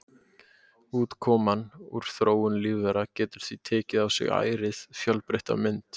Útkoman úr þróun lífvera getur því tekið á sig ærið fjölbreytta mynd.